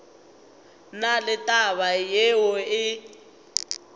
na le taba yeo e